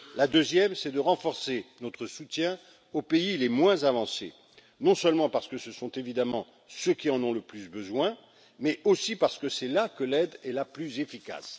La deuxième, c'est de renforcer notre soutien aux pays les moins avancés, non seulement parce que ce sont évidemment ceux qui en ont le plus besoin, mais aussi parce que c'est là que l'aide est la plus efficace.